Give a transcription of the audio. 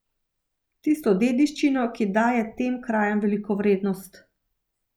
Tisto dediščino, ki daje tem krajem veliko vrednost.